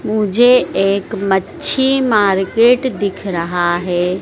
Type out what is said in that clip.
मुझे एक मच्छी मार्केट दिख रहा है।